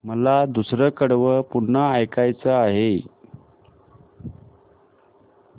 मला दुसरं कडवं पुन्हा ऐकायचं आहे